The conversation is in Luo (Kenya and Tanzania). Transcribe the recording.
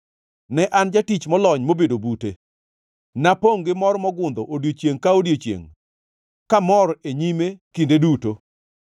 Ne an jatich molony mobedo bute. Napongʼ gi mor mogundho odiechiengʼ ka odiechiengʼ kamor e nyime kinde duto,